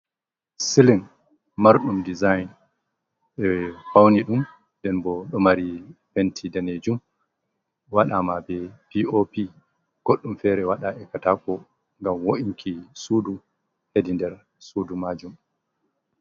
Siling marɗum dezign e faune ɗum, nden ɓo ɗo mari penti danejum, wadama ɓe pop godɗum fere waɗa e katako ngam wo’inki sudu hedi nder sudu majum.